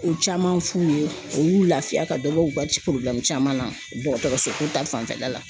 Ko caman f'u ye u y'u lafiya ka dɔ bɔ u ka ci caman na dɔgɔtɔrɔsoko ta fanfɛla la.